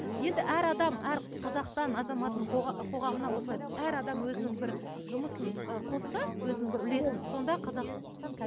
енді әр адам әр қазақстан азаматының қоғамына осылай әр адам өзінің бір жұмысын ы қосса өзінің бір үлесін сонда қазақстан